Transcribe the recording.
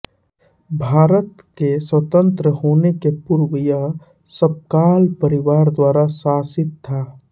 भारत के स्वतंत्रत होने के पूर्व यह सपकाल परिवार द्वारा शासित था